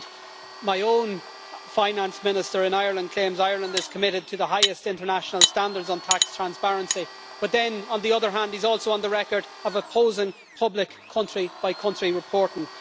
Indeed, my own Finance Minister in Ireland claims Ireland is committed to the highest international standards on tax transparency, but then, on the other hand, is also on the record as opposing public country by country reporting.